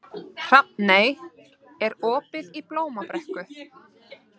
Hrafney, er opið í Blómabrekku?